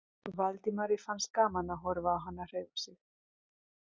Valdimari fannst gaman að horfa á hana hreyfa sig.